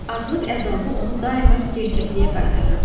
Aclıq əzabı onu daima gerçəkliyə qaytarırdı.